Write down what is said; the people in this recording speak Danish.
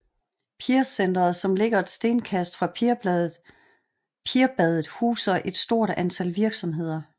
Pirsenteret som ligger et stenkast fra Pirbadet huser et stort antal virksomheder